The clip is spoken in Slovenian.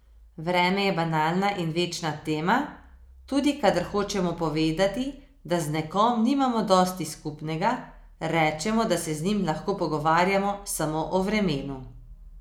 Vreme je banalna in večna tema, tudi kadar hočemo povedati, da z nekom nimamo dosti skupnega, rečemo, da se z njim lahko pogovarjamo samo o vremenu.